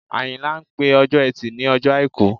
Àyìnlá ń pè Ọjọ́ Ẹtì ní Ọjọ́ Àìkú